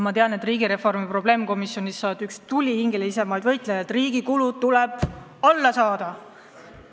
Ma tean, et riigireformi probleemkomisjonis sa oled üks tulihingelisemaid võitlejaid, väites, et riigi kulud tuleb alla saada.